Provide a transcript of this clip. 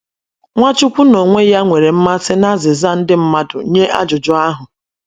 Nwachukwu n’onwe ya nwere mmasị n’azịza ndị mmadụ nye ajụjụ ahụ.